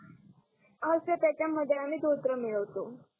हा सर त्याच्या मध्ये आम्ही धोत्र मिळवतो